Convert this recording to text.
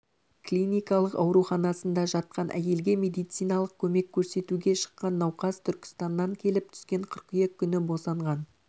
клиникалық ауруханасында жатқан әйелге медициналық көмек көрсетуге шыққан науқас түркістаннан келіп түскен қыркүйек күні босанған